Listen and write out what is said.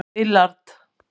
Willard